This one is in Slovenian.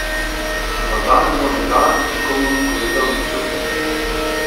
Morda ne bo nikdar nikomur povedal nič o tem.